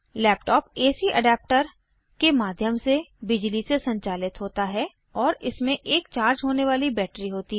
laptop AC adapter के माध्यम से बिजली से संचालित होता है और इसमें एक चार्ज होने वाली बैटरी होती है